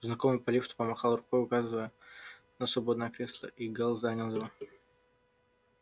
знакомый по лифту помахал рукой указывая на свободное кресло и гаал занял его